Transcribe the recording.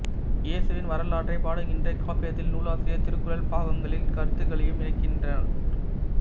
இயேசுவின் வரலாற்றைப் பாடுகின்ற இக்காப்பியத்தில் நூலாசிரியர் திருக்குறள் பாக்களின் கருத்துகளையும் இணைக்கின்றார்